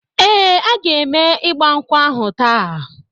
Ee, a ga eme igba nkwu ahu taa